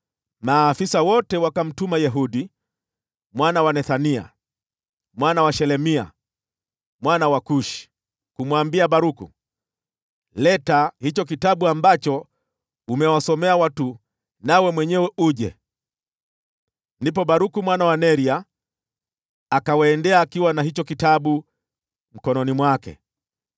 maafisa wote wakamtuma Yehudi mwana wa Nethania, mwana wa Shelemia, mwana wa Kushi, kumwambia Baruku, “Leta hicho kitabu ambacho umewasomea watu, nawe mwenyewe uje.” Ndipo Baruku mwana wa Neria akawaendea akiwa na hicho kitabu mkononi mwake.